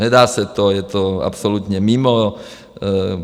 Nedá se to, je to absolutně mimo.